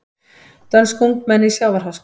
Dönsk ungmenni í sjávarháska